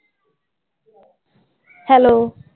Hello.